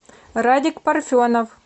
радик парфенов